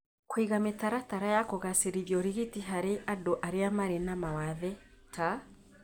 Kũiga mĩtaratara ya kugacĩrĩria ũrigiti harĩ andũ arĩa marĩ na mawathe, ta